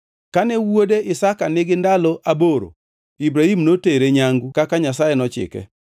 Kane wuode Isaka nigi ndalo aboro, Ibrahim notere nyangu kaka Nyasaye nochike.